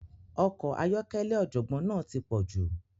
Ọkọ̀ ayọ́kẹ́lẹ́ ọ̀jọ̀gbọ́n náà ti pọ̀jù.